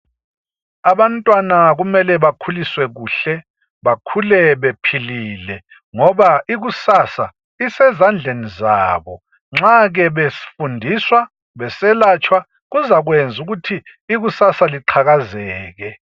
Abantwana kumele bakhuliswe kuhle, bakhule bephilile. Ngoba ikusasa isezandleni zabo. Nxa ke befundiswa, beselatshwa, kuzakwenz' ukuthi ikusasa liqhakazeke.